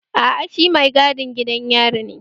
Aa, shi mai gadin gidan yari ne